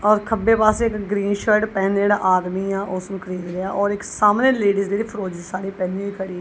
ਔਰ ਖੱਬੇ ਪਾਸੇ ਇੱਕ ਗ੍ਰੀਨ ਸ਼ਰਟ ਪਹਿਨੇ ਜੇੜਾ ਆਦਮੀ ਆ ਉਸਨੂੰ ਖਰੀਦ ਲਿਆ ਔਰ ਸਾਮਣੇ ਇੱਕ ਲੇਡੀਜ਼ ਦੀ ਜੇੜੀ ਫਿਰੋਜ਼ੀ ਸਾੜੀ ਪਹਿਨੇ ਖੜੀ ਆ।